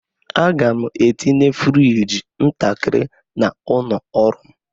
Aga m etinye frigi ntakịrị n'ụlọ ọrụ m.